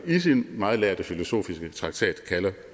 i sin meget lærde filosofiske traktat kalder